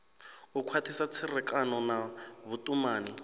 u khwathisa tserekano na vhutumani